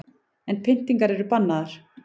En pyntingar eru bannaðar